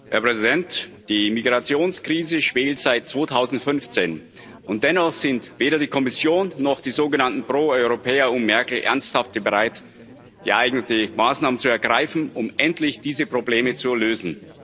Herr Präsident! Die Migrationskrise schwelt seit 2015, und dennoch sind weder die Kommission noch die sogenannten Proeuropäer um Merkel ernsthaft bereit, geeignete Maßnahmen zu ergreifen, um endlich diese Probleme zu lösen.